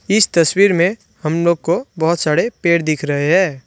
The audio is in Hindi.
इस तस्वीर में हम लोग को बहोत सारे पेड़ दिख रहे है।